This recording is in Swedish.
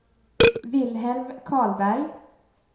Wilhelm Karlberg